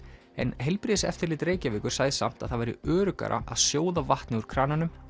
en Heilbrigðiseftirlit Reykjavíkur sagði samt að það væri öruggara að sjóða vatnið úr krananum